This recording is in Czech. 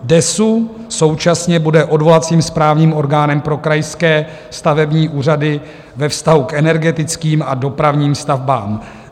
DESÚ současně bude odvolacím správním orgánem pro krajské stavební úřady ve vztahu k energetickým a dopravním stavbám.